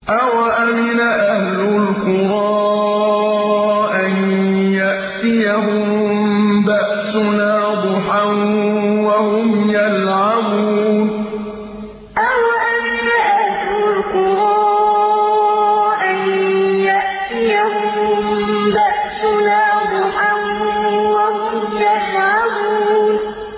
أَوَأَمِنَ أَهْلُ الْقُرَىٰ أَن يَأْتِيَهُم بَأْسُنَا ضُحًى وَهُمْ يَلْعَبُونَ أَوَأَمِنَ أَهْلُ الْقُرَىٰ أَن يَأْتِيَهُم بَأْسُنَا ضُحًى وَهُمْ يَلْعَبُونَ